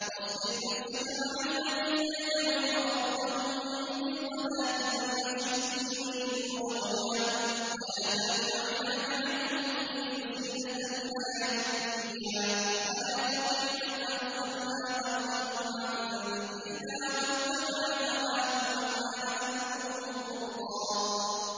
وَاصْبِرْ نَفْسَكَ مَعَ الَّذِينَ يَدْعُونَ رَبَّهُم بِالْغَدَاةِ وَالْعَشِيِّ يُرِيدُونَ وَجْهَهُ ۖ وَلَا تَعْدُ عَيْنَاكَ عَنْهُمْ تُرِيدُ زِينَةَ الْحَيَاةِ الدُّنْيَا ۖ وَلَا تُطِعْ مَنْ أَغْفَلْنَا قَلْبَهُ عَن ذِكْرِنَا وَاتَّبَعَ هَوَاهُ وَكَانَ أَمْرُهُ فُرُطًا